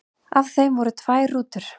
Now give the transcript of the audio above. Af þeim voru tvær rútur.